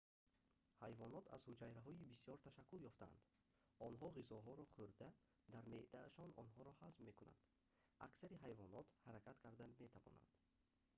ҳайвонот аз ҳуҷайраҳои бисёр ташаккул ёфтаанд онҳо ғизоҳоро хӯрда дар меъдаашон онҳоро ҳазм мекунанд аксари ҳайвонот ҳаракат карда метавонанд